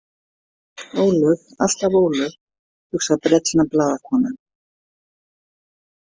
Ólöf, alltaf Ólöf, hugsar brellna blaðakonan.